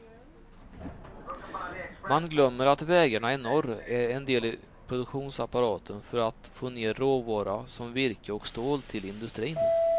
Man glömmer att vägarna i norr är en del i produktionsapparaten för att få ner råvara som virke och stål till industrin.